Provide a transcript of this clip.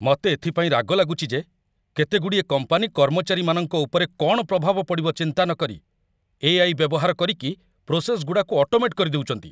ମତେ ଏଥିପାଇଁ ରାଗ ଲାଗୁଚି ଯେ କେତେଗୁଡ଼ିଏ କମ୍ପାନୀ କର୍ମଚାରୀମାନଙ୍କ ଉପରେ କ'ଣ ପ୍ରଭାବ ପଡ଼ିବ ଚିନ୍ତା ନକରି, ଏ.ଆଇ. ବ୍ୟବହାର କରିକି, ପ୍ରୋସେସ୍‌ଗୁଡ଼ାକୁ ଅଟୋମେଟ୍ କରିଦଉଚନ୍ତି ।